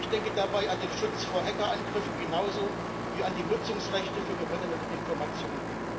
Ich denke dabei an den Schutz vor Hackerangriffen genauso wie an die Nutzungsrechte für gewonnene Informationen.